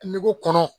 Kungo kɔnɔ